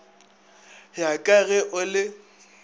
ya ka ge o le